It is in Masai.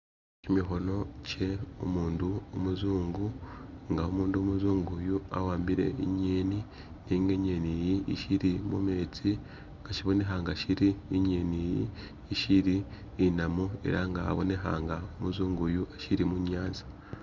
Kimikhono kye umundu umuzungu nga umundu umuzungu uyu awambile inyeni nenga inyeni iyi ishili mu metsi, nga shibonekha nga shili inyeni iyi ishili inamu ela nga abonekha nga umuzungu uyu ashili mu nyanza